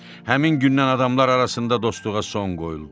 Həmin gündən adamlar arasında dostluğa son qoyuldu.